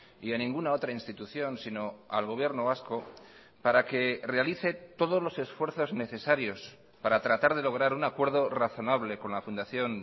y en ninguna otra institución sino al gobierno vasco para que realice todos los esfuerzos necesarios para tratar de lograr un acuerdo razonable con la fundación